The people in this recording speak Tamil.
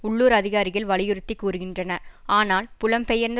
உள்ளூர் அதிகாரிகள் வலியுறுத்தி கூறுகின்றன ஆனால் புலம்பெயர்ந்த